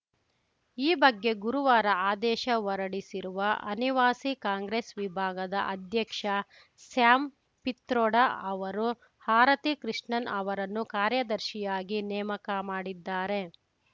ಈ ಬಗ್ಗೆ ಗುರುವಾರ ಆದೇಶ ಹೊರಡಿಸಿರುವ ಅನಿವಾಸಿ ಕಾಂಗ್ರೆಸ್‌ ವಿಭಾಗದ ಅಧ್ಯಕ್ಷ ಸ್ಯಾಮ್‌ ಪಿತ್ರೊಡಾ ಅವರು ಆರತಿ ಕೃಷ್ಣನ್‌ ಅವರನ್ನು ಕಾರ್ಯದರ್ಶಿಯಾಗಿ ನೇಮಕ ಮಾಡಿದ್ದಾರೆ